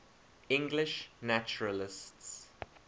english naturalists